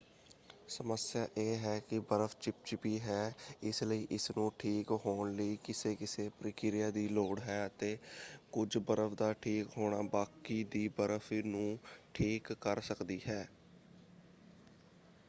ਸਮੱਸਿਆ ਇਹ ਹੈ ਕਿ ਬਰਫ ਚਿਪਚਿਪੀ ਹੈ ਇਸਲਈ ਇਸਨੂੰ ਠੀਕ ਹੋਣ ਲਈ ਕਿਸੇ ਕਿਸੇ ਪ੍ਰਕਿਰਿਆ ਦੀ ਲੋੜ ਹੈ ਅਤੇ ਕੁੱਝ ਬਰਫ ਦਾ ਠੀਕ ਹੋਣਾ ਬਾਕੀ ਦੀ ਬਰਫ਼ ਨੂੰ ਠੀਕ ਕਰ ਸਕਦੀ ਹੈ।